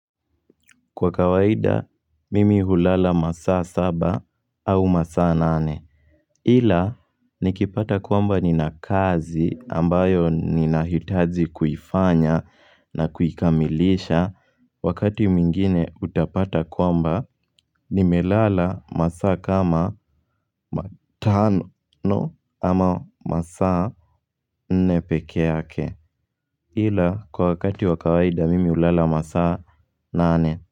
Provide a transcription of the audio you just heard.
Kwa kawaida mimi hulala masaa saba au masaa nane Hila nikipata kwamba nina kazi ambayo nina hitaji kuifanya na kuikamilisha Wakati mwingine utapata kwamba nimelala masaa kama matano ama masaa nne pekeyake Hila kwa wakati wakawaida mimi hulala masaa nane.